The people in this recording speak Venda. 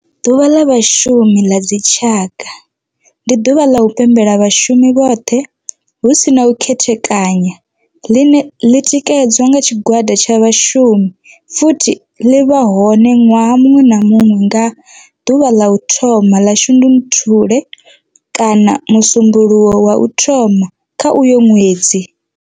Ḓuvha ḽa Vhashumi ḽa dzi tshaka, ndi ḓuvha ḽa u pembela vhashumi vhothe hu si na u khethekanya ḽine ḽi tikedzwa nga tshigwada tsha vhashumi futhi ḽi vha hone nwaha muṅwe na muṅwe nga ḓuvha ḽa u thoma 1 ḽa Shundunthule kana musumbulowo wa u thoma kha uyo ṅwedzi.